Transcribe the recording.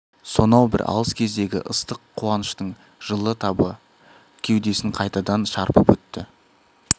сонау бір алыс кездегі ыстық қуаныштың жылы табы кеудесін қайтадан шарпып өтті